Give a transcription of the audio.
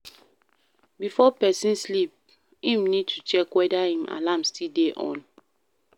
Before person sleep im need to check weda im alarm still dey on